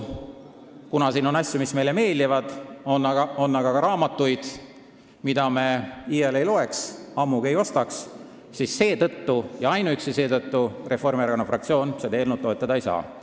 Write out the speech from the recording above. Kuna siin on asju, mis meile meeldivad, aga selles pakis on ka raamatuid, mida me iial ei loeks, ammugi ei ostaks, siis seetõttu ja ainuüksi seetõttu Reformierakonna fraktsioon seda eelnõu toetada ei saa.